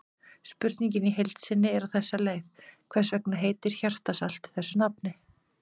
Spurningin í heild sinni er á þessa leið: Hvers vegna heitir hjartarsalt þessu nafni?